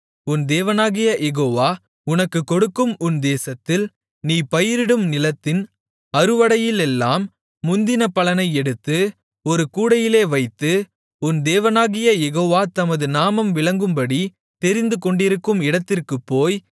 உன் தேவனாகிய யெகோவா உனக்குக் கொடுக்கும் உன் தேசத்தில் நீ பயிரிடும் நிலத்தின் அறுவடையிலெல்லாம் முந்தின பலனை எடுத்து ஒரு கூடையிலே வைத்து உன் தேவனாகிய யெகோவா தமது நாமம் விளங்கும்படி தெரிந்துகொண்டிருக்கும் இடத்திற்குப் போய்